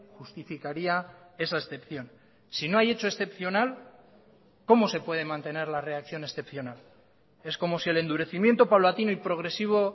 justificaría esa excepción si no hay hecho excepcional cómo se puede mantener la reacción excepcional es como si el endurecimiento paulatino y progresivo